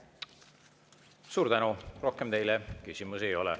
Rohkem teile küsimusi ei ole.